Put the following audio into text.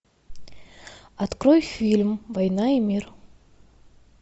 открой фильм война и мир